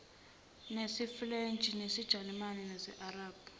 nesifulentshi isijalimane isiarabhu